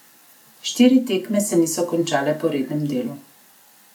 Štiri tekme se niso končale po rednem delu.